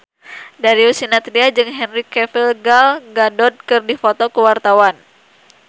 Darius Sinathrya jeung Henry Cavill Gal Gadot keur dipoto ku wartawan